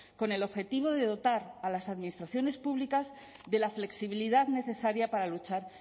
con el objetivo de dotar a las administraciones públicas de la flexibilidad necesaria para luchar